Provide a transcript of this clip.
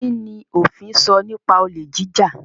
Kini ofin sọ nipa olè jíjà?